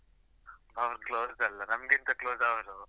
ಅವ್ನು close ಅಲ್ಲಾ, ನಮ್ಗಿಂತ close ಅವನು.